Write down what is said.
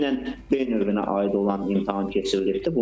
Dünən B növünə aid olan imtahan keçirilibdir.